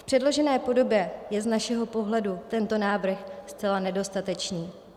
V předložené podobě je z našeho pohledu tento návrh zcela nedostatečný.